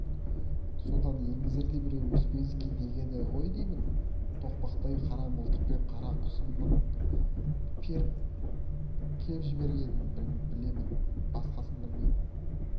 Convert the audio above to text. содан еңгезердей біреуі успенский дегені ғой деймін тоқпақтай қара мылтықпен қарақұсымнан періп кеп жібергенін білемін басқасын білмеймін